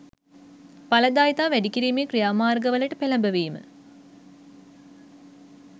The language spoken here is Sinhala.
ඵලදායිතාව වැඩි කිරීමේ ක්‍රියාමාර්ගවලට පෙලඹවීම